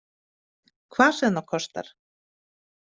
Hvað sem það kostar!